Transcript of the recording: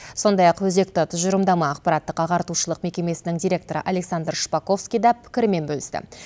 сондай ақ өзекті тұжырымдама ақпараттық ағартушылық мекемесінің директоры александр шпаковский да пікірімен бөлісті